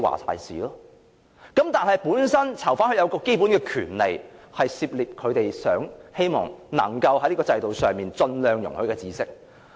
可是，囚犯本身有基本權利，可以涉獵他們希望能夠在這個制度上盡量容許的知識。